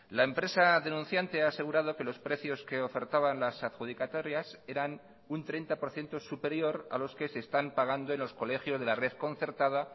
la empresa denunciante ha asegurado que los precios que ofertaban las adjudicatarias eran un treinta por ciento superior a los que se están pagando en los colegios de la red concertada